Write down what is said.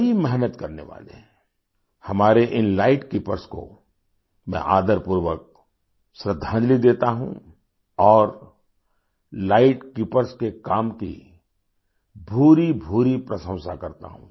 कड़ी मेहनत करने वालेहमारे इन लाइट कीपर्स को मैं आदरपूर्वक श्रद्धांजलि देता हूँ और लाइट कीपर्स के काम की भूरिभूरि प्रशंसा करता हूँ